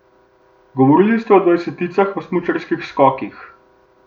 Govorili ste o dvajseticah v smučarskih skokih.